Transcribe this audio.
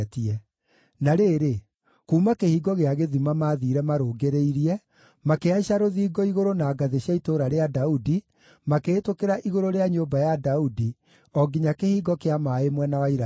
Na rĩrĩ, kuuma Kĩhingo gĩa Gĩthima maathiire marũngĩrĩirie, makĩhaica rũthingo igũrũ na ngathĩ cia Itũũra rĩa Daudi, makĩhĩtũkĩra igũrũ rĩa nyũmba ya Daudi, o nginya Kĩhingo kĩa Maaĩ mwena wa irathĩro.